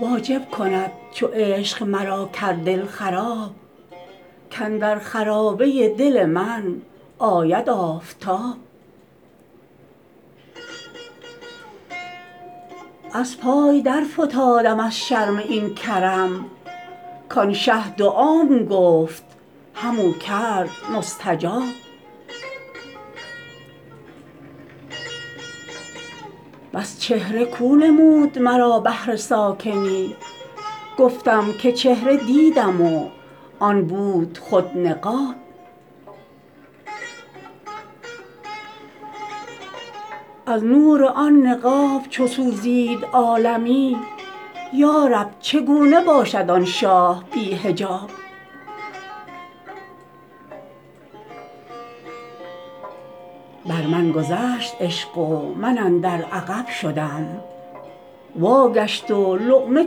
واجب کند چو عشق مرا کرد دل خراب کاندر خرابه دل من آید آفتاب از پای درفتاده ام از شرم این کرم کان شه دعام گفت همو کرد مستجاب بس چهره کو نمود مرا بهر ساکنی گفتم که چهره دیدم و آن بود خود نقاب از نور آن نقاب چو سوزید عالمی یا رب چگونه باشد آن شاه بی حجاب بر من گذشت عشق و من اندر عقب شدم واگشت و لقمه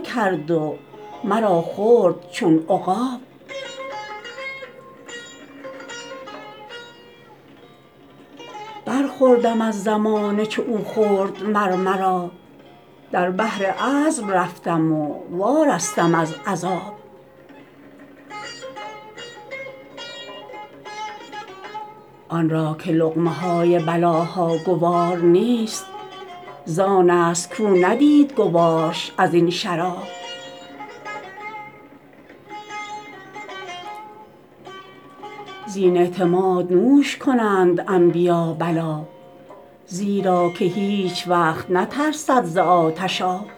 کرد و مرا خورد چون عقاب برخوردم از زمانه چو او خورد مر مرا در بحر عذب رفتم و وارستم از عذاب آن را که لقمه های بلاها گوار نیست زانست کو ندید گوارش از این شراب زین اعتماد نوش کنند انبیا بلا زیرا که هیچ وقت نترسد ز آتش آب